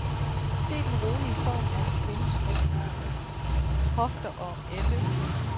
Se den rolige form af en kvindes ryg, hofter og ende.